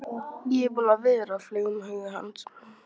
Ég er búinn að vera, flaug um huga hans.